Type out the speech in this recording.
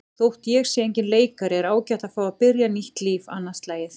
Þótt ég sé enginn leikari er ágætt að fá að byrja nýtt líf annað slagið.